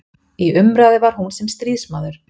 Í umræðu var hún sem stríðsmaður.